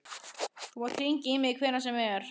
Þú mátt hringja í mig hvenær sem er.